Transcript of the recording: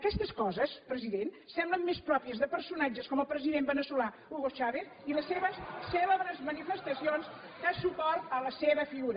aquestes coses president semblen més pròpies de personatges com el presi dent veneçolà hugo chávez i les seves cèlebres manifestacions de suport a la seva figura